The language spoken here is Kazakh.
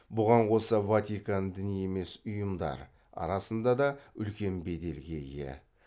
бұған қоса ватикан діни емес ұйымдар арасында да үлкен беделге ие